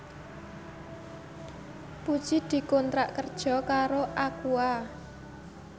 Puji dikontrak kerja karo Aqua